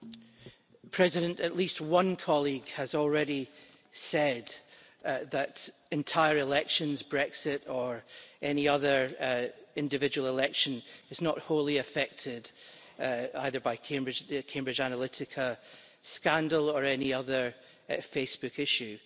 Mr President, at least one colleague has already said that entire elections, Brexit or any other individual election, are not wholly affected either by the Cambridge Analytica scandal or any other Facebook issue.